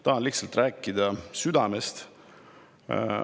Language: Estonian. Tahan lihtsalt rääkida südamest.